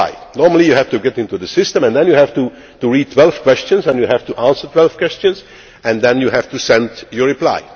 Normally you have to get into the system and then you have to read 12 questions and you have to answer 12 questions and then you have to send your